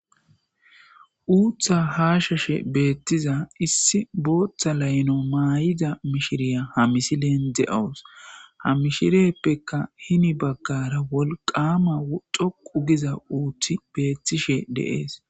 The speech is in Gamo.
uutha haashashe beettiza issi booththa layno maay'ida mishiriya ha misileen de'awus ha mishiriyeppeka hini baggara wolqama doqu giza uuththi beettishe de'es